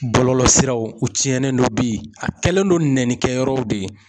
Bɔlɔlɔsiraw u tiɲɛnen don bi a kɛlen don nɛnikɛyɔrɔw de ye